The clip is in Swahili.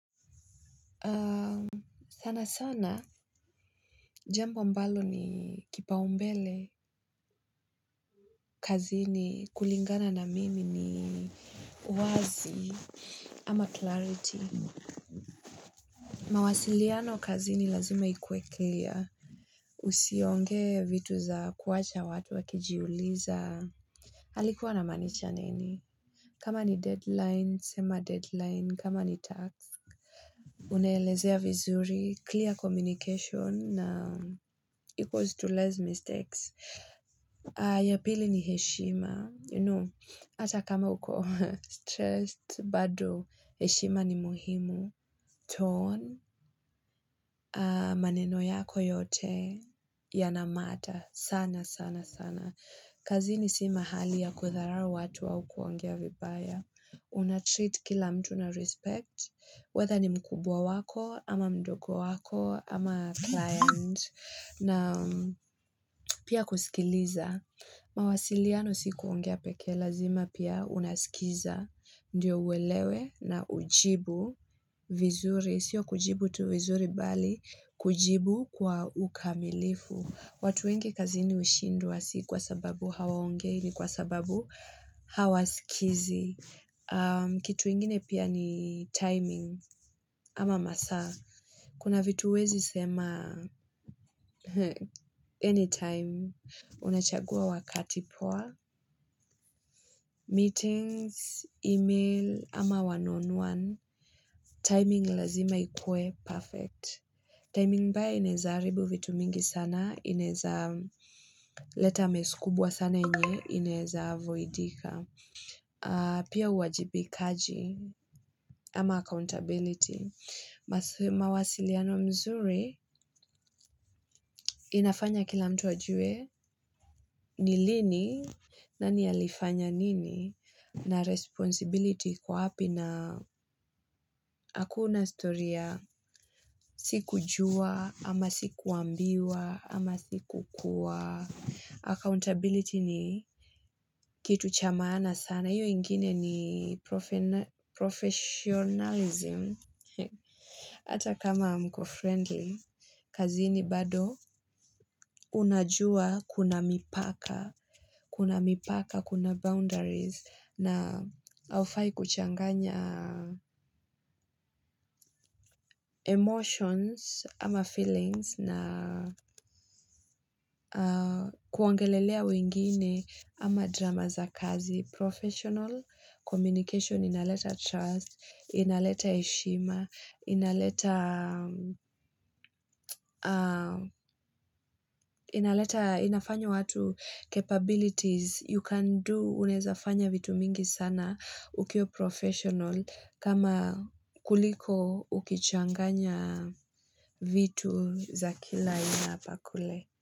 Sana sana jambo ambalo ni kipaumbele kazi ni kulingana na mimi ni uwazi ama clarity mawasiliano kazi ni lazima ikuwe clear usionge vitu za kuwacha watu wakijiuliza alikuwa ana maanisha nini kama ni deadline sema deadline kama ni task unaelezea vizuri clear communication na equals to less mistakes ya pili ni heshima. You know, ata kama uko stressed, bado, heshima ni muhimu. Tone, maneno yako yote, yanamata. Sana, sana, sana. Kazini simahali ya kudharau watu au kuongea vibaya. Una-treat kila mtu na respect, whether ni mkubwa wako, ama mdogo wako, ama client, na pia kusikiliza. Mawasiliano si kuongea pekee lazima pia unasikiza Ndiyo uelewe na ujibu vizuri Sio kujibu tu vizuri bali kujibu kwa ukamilifu watu wengi kazi ni hushindwa si kwa sababu hawaongei ni kwa sababu hawa sikizi kitu ingine pia ni timing ama masaa Kuna vitu huwezi sema anytime Unachagua wakati poa, meetings, email, ama one on one, timing lazima ikue perfect. Timing mbaya inawezaharibu vitu mingi sana, inawezaharibu leta messkubwa sana yenye, inaweza avoidika. Pia uwajibikaji ama accountability. Mawasiliano mzuri, inafanya kila mtu ajue, nilini, nani alifanya nini? Na responsibility ikowapi na hakuna storyya siku jua ama siku ambiwa ama siku kuwa Accountability ni kitu chamaana sana hiyo ingine ni professionalism Hata kama mko friendly kazini bado unajua kuna mipaka Kuna mipaka, kuna boundaries na haufai kuchanganya emotions ama feelings na kuongelelea wengine ama drama za kazi. Professional, communication, inaleta trust, inaleta heshima, inaleta inafanya watu capabilities you can do. Unawezafanya vitu mingi sana ukiwa professional kama kuliko ukichanganya vitu za kila ina hapakule.